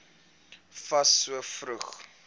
fas so vroeg